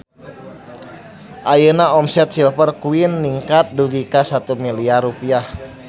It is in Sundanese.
Ayeuna omset Silver Queen ningkat dugi ka 1 miliar rupiah